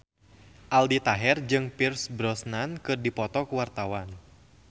Aldi Taher jeung Pierce Brosnan keur dipoto ku wartawan